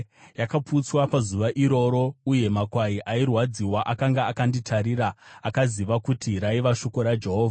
Yakaputswa pazuva iroro, uye makwai airwadziwa akanga akanditarira akaziva kuti raiva shoko raJehovha.